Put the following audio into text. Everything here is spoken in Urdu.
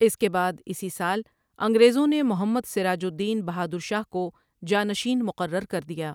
اس کے بعد اِسی سال انگریزوں نے محمد سراج الدین بہادر شاہ کو جانشین مقرر کر دیا ۔